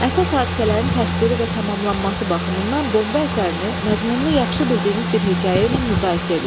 Əsas hadisələrin təsviri və tamamlanması baxımından bomba əsərini məzmununu yaxşı bildiyiniz bir hekayə ilə müqayisə eləyin.